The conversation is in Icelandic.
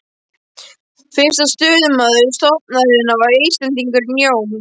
Fyrsti forstöðumaður stofnunarinnar var Íslendingurinn Jón